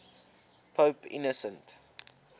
pope innocent